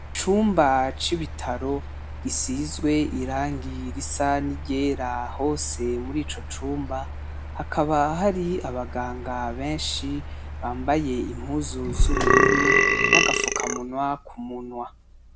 Icumba c'ibitaro gisizwe irangi risa ni iryera hose muri ico cumba, hakaba hari abaganga benshi bambaye impuzu z'ubururu, n'agapfukamunwa ku munwa.